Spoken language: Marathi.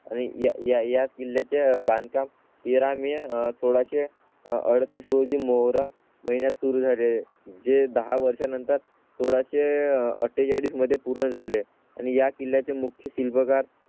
आणि याच किल्ल्या च्या बांधकाम तेरा मे सोळाशे अडतीस रोजी मोहरा. महिन्यात सुरू झाले. जे दहा वर्षानंतर सोळाशे अठ्ठेचाळीस मध्ये पूर्ण झाले आणि या किल्ल्या चे मुख्य शिल्पकार.